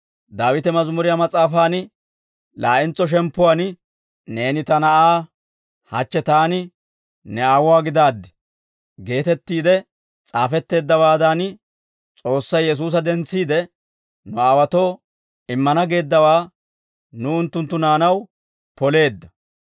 Daawite Mazimuriyaa Mas'aafaan laa'entso shemppuwaan, « ‹Neeni Ta Na'aa. Hachche Taani ne Aawuwaa gidaaddi› geetettiide s'aafetteeddawaadan, S'oossay Yesuusa dentsiide, nu aawaatoo immana geeddawaa nuw unttunttu naanaw poleedda.